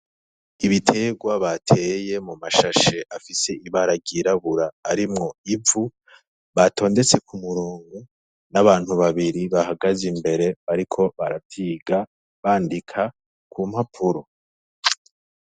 Ibiterwa bateye mumashashe afise ibara ryirabura, arimwo ivu batondetse kumurongo, n'abantu babiri bahagaze imbere bariko baravyiga bandika ku mpapuro.